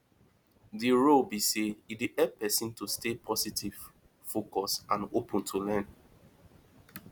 di role be say e dey help pesin to stay positive focused and open to learn